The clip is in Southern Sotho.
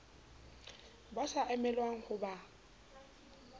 ba sa emelwang ho ba